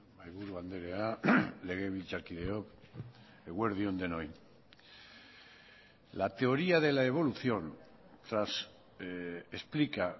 mahaiburu andrea legebiltzarkideok eguerdi on denoi la teoría de la evolución explica